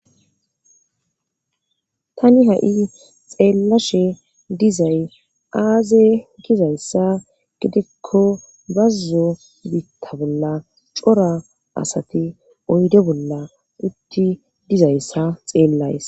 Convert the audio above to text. tani ha7i xeellashe dizay aaze gizayssa gidekko bazzo biitta bolla cora asati oyde bolla utti dizayssa xeellays